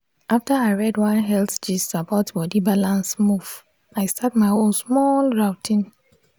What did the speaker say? after i read one health gist about body balance move i start my own small routine.